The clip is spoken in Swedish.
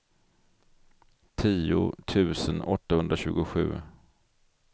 tio tusen åttahundratjugosju